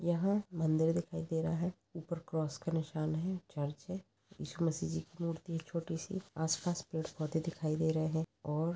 यहाँ मंदिर दिखाई दे रहा है ऊपर क्रॉस का निशान है चर्च है ईशुमशी जी की मूर्ति है एक छोटी सी आस पास पेड़-पोधे दिखाई दे रहे है। और--